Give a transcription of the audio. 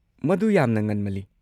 ꯃꯗꯨ ꯌꯥꯝꯅ ꯉꯟꯃꯜꯂꯤ꯫